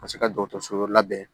Ka se ka dɔgɔtɔrɔso wɛrɛ labɛn